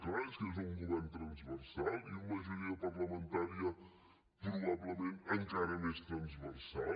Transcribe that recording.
clar és que és un govern transversal i una majoria parlamentaria probablement encara més transversal